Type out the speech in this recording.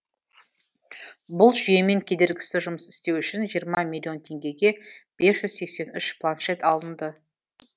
бұл жүйемен кедергісіз жұмыс істеу үшін жиырма миллион теңгеге бес жүз сексен үш планшет алынды